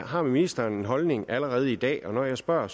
har ministeren en holdning allerede i dag når jeg spørger